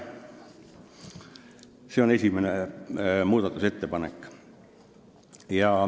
See oli esimene muudatusettepanek.